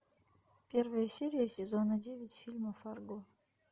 первая серия сезона девять фильма фарго